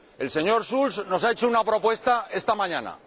El señor Schulz nos ha hecho una propuesta esta mañana.